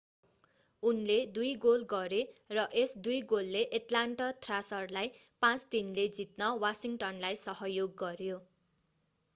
उनले 2 गोल गरे र यस 2 गोलले एट्लान्टा थ्रासर्रलाई 5-3 ले जित्न वासिङ्टनलाई सहयोग गर्‍यो।